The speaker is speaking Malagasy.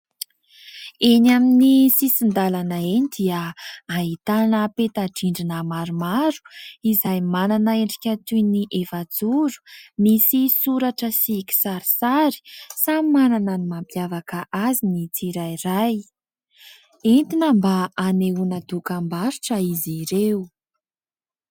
Eny amin'ny sisin-dalana eny dia ahitana peta-drindrina maromaro, izay manana endrika toy ny efa-joro, misy soratra sy kisarisary samy manana ny mampiavaka azy ny tsirairay. Entina mba hanehoana dokam-barotra izy ireo.